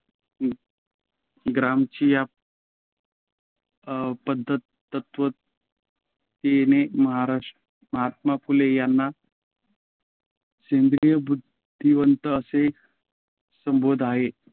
ग्रामची या अं पध्त तत्त्ववेत्त्याने महात्मा फुले यांन सेंद्रिय बुद्धिवंत असे संबोधलाए